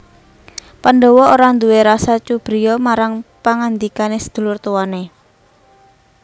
Pandhawa ora nduwé rasa cubriya marang pangandikane sedulur tuwane